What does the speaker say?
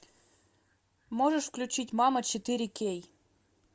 можешь включить мама четыре кей